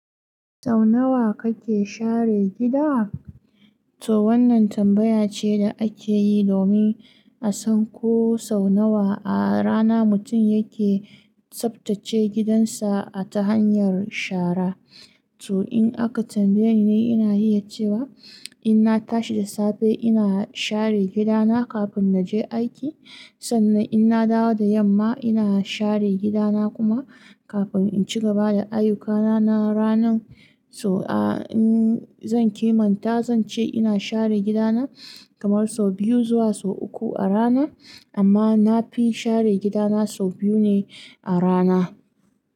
Sau nawa kake share gida? To wannan tambaya ce da ake yi domin a san ko sau nawa a rana mutum yake tsaftace gidansa ta hanyar shara. To in aka tambaye ni, ni ina iya cewa in na tashi da safe, ina share gida na kafin na je aiki. Sannan in na dawo da yamma, ina share gida na kuma kafin in ci gaba da ayyukana na ranan. To, a in zan kimanta, zan ce ina share gida na kamar sau biyu zuwa sau uku a rana, amma na fi share gida na sau biyu ne a rana.